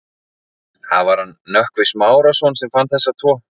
Það var hann Nökkvi Smárason sem fann þessa tvo.